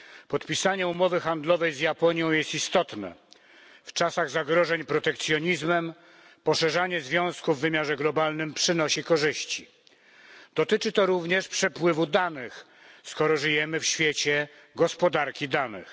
Podpisanie umowy handlowej z Japonią jest istotne. W czasach zagrożeń protekcjonizmem poszerzanie związków w wymiarze globalnym przynosi korzyści. Dotyczy to również przepływu danych, skoro żyjemy w świecie gospodarki danych.